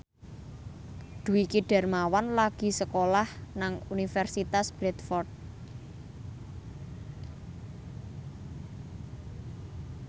Dwiki Darmawan lagi sekolah nang Universitas Bradford